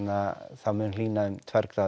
þá mun hlýna um tvær gráður